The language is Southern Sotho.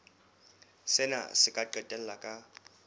sena se ka qetella ka